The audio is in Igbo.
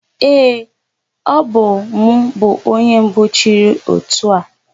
Ee, ọbụ m bụ onye mbụ chịrị ótù a.